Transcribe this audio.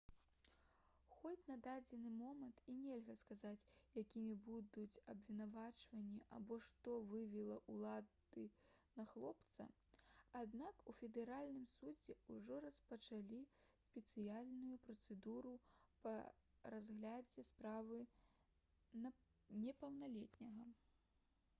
хоць на дадзены момант і нельга сказаць якімі будуць абвінавачванні або што вывела ўлады на хлопца аднак у федэральным судзе ўжо распачалі спецыяльную працэдуру па разглядзе справы непаўналетняга